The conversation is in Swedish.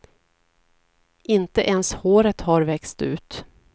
Inte ens håret har växt ut.